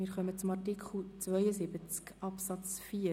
Wir kommen zu Artikel 72 Absatz 4.